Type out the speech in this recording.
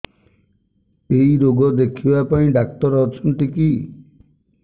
ଏଇ ରୋଗ ଦେଖିବା ପାଇଁ ଡ଼ାକ୍ତର ଅଛନ୍ତି କି